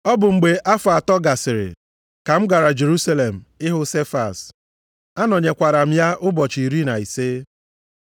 Ọ bụ mgbe afọ atọ gasịrị, ka m gara Jerusalem ịhụ Sefas. Anọnyekwara m ya ụbọchị iri na ise.